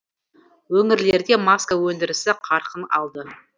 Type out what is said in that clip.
өңірлерде маска өндірісі қарқын алды